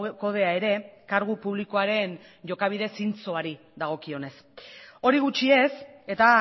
kodea ere kargu publikoaren jokabide zintzoari dagokionez hori gutxi ez eta